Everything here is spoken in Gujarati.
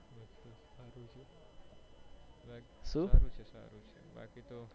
સારું છે સારું છે બાકી તો